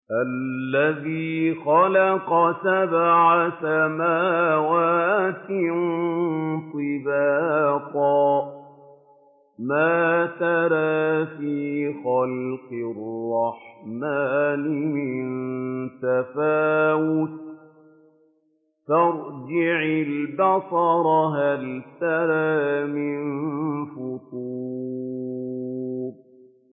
الَّذِي خَلَقَ سَبْعَ سَمَاوَاتٍ طِبَاقًا ۖ مَّا تَرَىٰ فِي خَلْقِ الرَّحْمَٰنِ مِن تَفَاوُتٍ ۖ فَارْجِعِ الْبَصَرَ هَلْ تَرَىٰ مِن فُطُورٍ